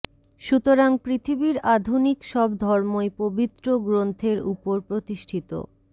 সুতরাং পৃথিবীর আধুনিক সব ধর্মই পবিত্র গ্রন্থের উপর প্রতিষ্ঠিতঃ